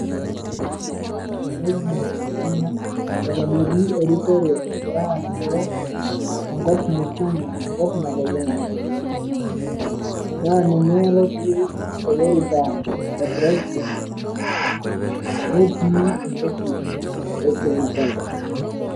Orpresident le Kenya ele otii erikor egira arikoo enkop musima enkop nalulunga na ninye otii olorika le president netii enchama e kenya kwanza